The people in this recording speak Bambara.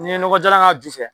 N ye nɔgɔ jalan k'a ju fɛ